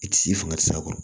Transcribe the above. I ti s'i fangasura kɔrɔ